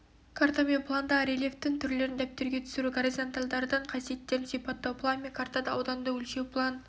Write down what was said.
карта мен пландағы рельефтің түрлерін дәптерге түсіру горизонтальдардың қасиеттерін сипаттау план мен картада ауданды өлшеу план